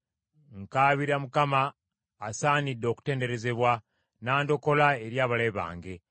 Nkaabira Mukama asaanidde okutenderezebwa, n’andokola eri abalabe bange.